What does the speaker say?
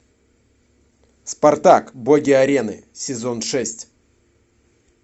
спартак боги арены сезон шесть